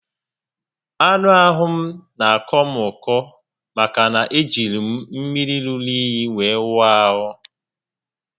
Anụ ahụ m n'akọ m ọkọ maka na e jiri mmiri ruru únyí were wụọ ahụ